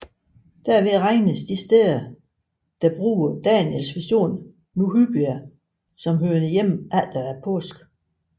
Derved regnedes de steder der bruger Daniels vision nu hyppigt som hørende hjemme efter påske